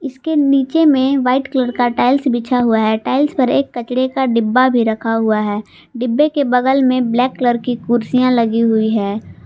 इसके नीचे में वाइट कलर का टाइल्स बिछा हुआ है टाइल्स पर एक कचरे का डिब्बा भी रखा हुआ है डिब्बे के बगल में ब्लैक कलर की कुर्सियां लगी हुई हैं।